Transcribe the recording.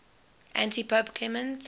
antipope clement